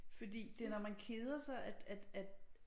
Fordi det når man keder sig at at at